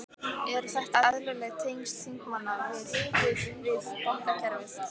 Eru þetta eðlileg tengsl þingmanna við, við, við bankakerfið?